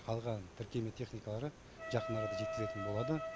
қалғанын тіркеме техникалары жақын арада жеткізетін болады